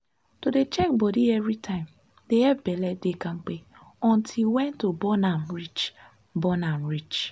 to dey check body evrytimedey epp belle dey kampe until wen to born am reach. born am reach.